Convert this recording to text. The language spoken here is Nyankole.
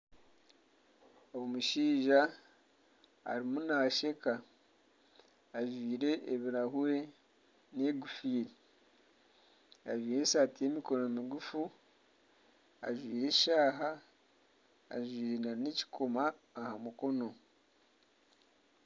Omushaija arimu naasheka ajwaire ebirahuri n'engofiira ajwaire esaati y'emikono migufu, ajwaire eshaaha, ajwaire n'ekikomo aha mukono.